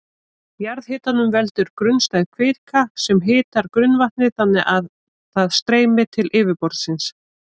Jarðhitanum veldur grunnstæð kvika sem hitar grunnvatnið þannig að það streymir til yfirborðsins.